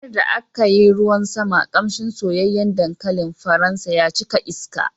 A ranar da aka yi ruwan sama, ƙamshin soyayyen dankalin faransa ya cika iska.